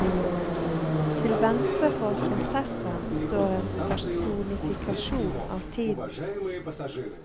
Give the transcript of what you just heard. Til venstre for prinsessen står en personifikasjon av tiden.